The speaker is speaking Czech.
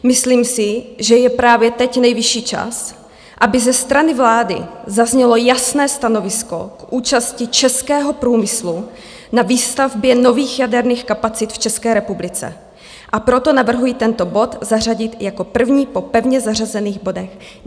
Myslím si, že je právě teď nejvyšší čas, aby ze strany vlády zaznělo jasné stanovisko k účasti českého průmyslu na výstavbě nových jaderných kapacit v České republice, a proto navrhuji tento bod zařadit jako první po pevně zařazených bodech.